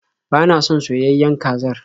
Ba na son soyayen kazar.